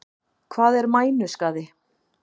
Hvað er mænuskaði?